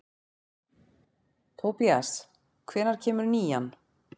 Tobías, hvenær kemur nían?